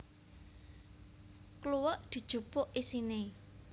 Kluwek dijupuk isine